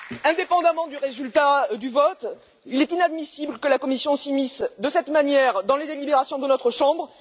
Indépendamment du résultat du vote, il est inadmissible que la Commission s'immisce de cette manière dans les délibérations de notre chambre.